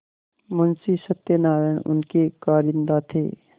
मुंशी सत्यनारायण उनके कारिंदा थे